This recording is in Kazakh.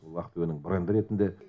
уақыт өнімі бренді ретінде